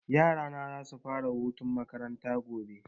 Yara na za su fara hutun makaranta gobe